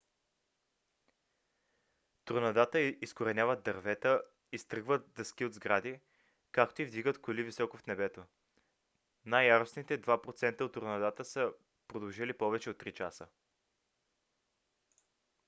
торнадата изкореняват дървета изтръгват дъски от сгради както и вдигат коли високо в небето. най-яростните 2 процента от торнадата са продължили повече от три часа